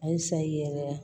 Ayi sa i yɛrɛ la